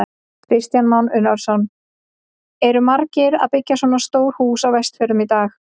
Kristján Már Unnarsson: Eru margir að byggja svona stór hús á Vestfjörðum í dag?